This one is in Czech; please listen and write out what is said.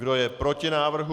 Kdo je proti návrhu?